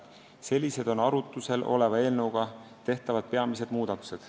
Sellised on arutusel oleva eelnõuga tehtavad peamised muudatused.